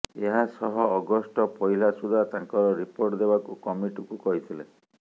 ଏହାସହ ଅଗଷ୍ଟ ପହିଲା ସୁଦ୍ଧା ତାଙ୍କର ରିପୋର୍ଟ ଦେବାକୁ କମିଟିକୁ କହିଥିଲେ